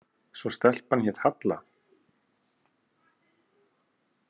Svo stelpan hét Halla.